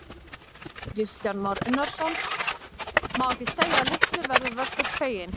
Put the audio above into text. Kristján Már Unnarsson: Má ekki segja að litlu verður Vöggur feginn?